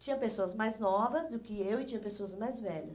Tinha pessoas mais novas do que eu e tinha pessoas mais velhas.